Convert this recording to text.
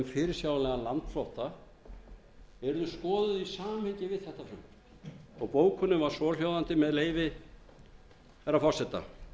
fyrirsjáanlegan landflótta yrðu skoðuð í samhengi við þetta frumvarp og bókunin var svohljóðandi með leyfi hæstvirts forseta